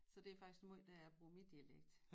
Så det er faktisk måj dér jeg bruger min dialekt